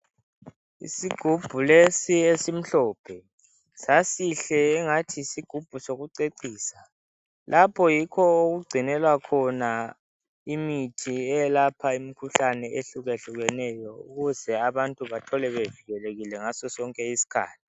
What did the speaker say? Isigubhulesi esimhlophe sasihle engathi yisigubhu sokucecisa lapho yikho okugcinelwa khona imithi eyelapha imikhuhlane ehlukahlukeneyo ukuze abantu bethole bevikelekile ngaso sonke isikhathi.